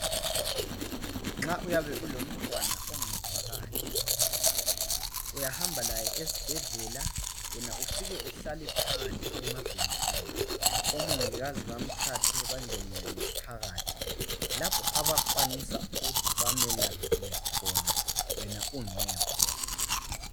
Nxa uyabe ulomntwana ongezwa kahle. Uyahamba laye esibhedlela. Wena ufike uhlale phandle emabhentshini. Omongikazi bamthathe, bangene naye phakathi. Lapho abakwanisa ukuthi bamelaphele khona, wena ungekho.